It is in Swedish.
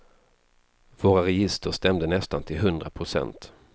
Våra register stämde nästan till hundra procent.